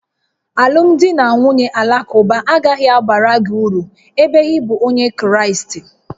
Alụmdi na nwunye Alakụba agaghị abara gị uru ebe ị bụ Onye Kraịst